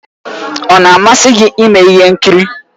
Ọ na-amasị gị ime ihe nkiri?